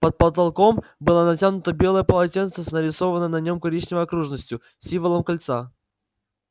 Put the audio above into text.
под потолком было натянуто белое полотенце с нарисованной на нем коричневой окружностью символом кольца